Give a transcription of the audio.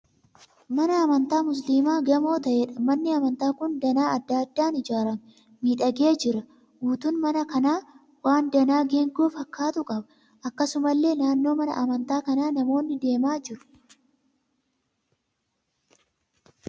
Mana amantaa musiliimaa gamoo ta'eedha. Manni amantaa kun danaa adda addaan ijaaramee miidhagee jira. Guutuun mana kanaa waan danaa geengoo fakkaatu qaba. Akkasumallee naannoo mana amantaa kanaa namoonni deemaa jiru.